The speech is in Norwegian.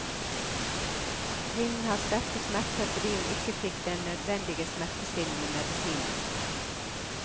Kvinnen hadde sterke smerter fordi hun ikke fikk den nødvendige smertestillende medisinen.